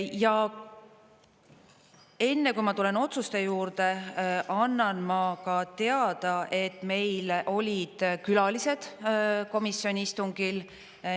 Ja enne, kui ma tulen otsuste juurde, annan ma ka teada, et meil olid külalised komisjoni istungil.